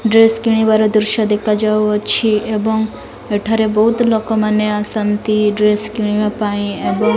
dress କିଣିବାର ଦୃଶ୍ୟ ଦେଖାଯାଉ ଅଛି ଏବଂ ଏଠାରେ ବୋଉତ୍ ଲୋକେ ମାନେ ଆସନ୍ତି ଡ୍ରେସ୍ କିଣିବା ପାଇଁ ଏବଂ --